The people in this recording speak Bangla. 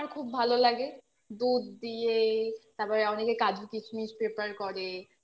আমার খুব ভালো লাগে দুধ দিয়ে, তারপরে অনেকে kaju kishmish paper করে